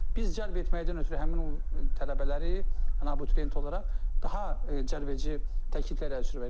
Biz cəlb etməkdən ötrü həmin o tələbələri, abituriyenti olaraq daha cəlbedici təkliflər ərsəyə verrik.